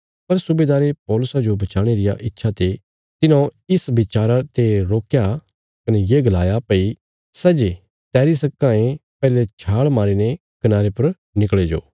पर सुबेदारे पौलुसा जो बचाणे रिया इच्छा ते तिन्हौं इस बचारा ते रोकया कने ये गलाया भई सै जे तैरी सक्कां ये पैहले छाल मारीने कनारे पर निकल़ी जाओ